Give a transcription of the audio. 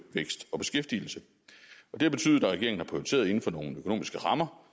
vækst og beskæftigelse det har betydet at regeringen har prioriteret inden for nogle økonomiske rammer